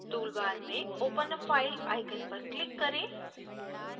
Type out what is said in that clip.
tool bar में open a file icon पर click करें